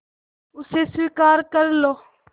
उसे स्वीकार कर लो